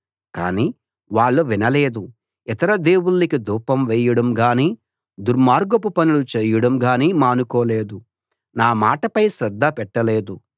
కానీ వాళ్ళు వినలేదు ఇతర దేవుళ్ళకి ధూపం వేయడం గానీ దుర్మార్గపు పనులను చేయడం గానీ మానుకోలేదు నా మాటపై శ్రద్ధ పెట్టలేదు